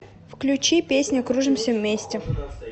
включи песня кружимся вместе